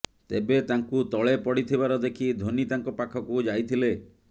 ତେବେ ତାଙ୍କୁ ତଳେ ପଡ଼ିଥିବାର ଦେଖି ଧୋନି ତାଙ୍କ ପାଖକୁ ଯାଇଥିଲେ